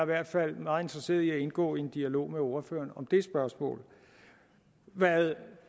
hvert fald meget interesseret i at indgå i en dialog med ordføreren om det spørgsmål hvad